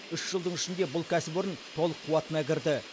үш жылдың ішінде бұл кәсіпорын толық қуатына кірді